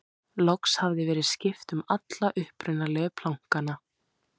loks hafði verið skipt um alla upprunalegu plankana